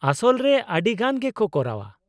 -ᱟᱥᱚᱞ ᱨᱮ ᱟᱹᱰᱤᱜᱟᱱ ᱜᱮᱠᱚ ᱠᱚᱨᱟᱣᱟ ᱾